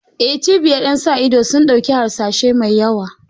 Eh, cibiyar ƴan sa ido sun ɗauku harsashai mai yawa.